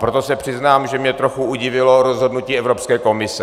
Proto se přiznám, že mě trochu udivilo rozhodnutí Evropské komise.